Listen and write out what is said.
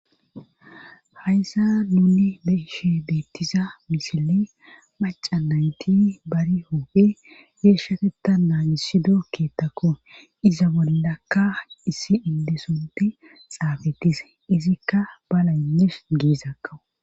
hayssa nuni be'eshe beettiza misiley maca nayti bari hoophe geeshateta naanisido keettakko iza bollakka issi indesonti xaafetise izikka balaynesh geezakko